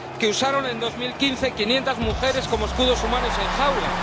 que usaron en 2015 a quinientas mujeres como escudos humanos en jaulas